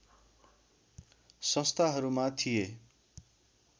संस्थाहरूमा थिए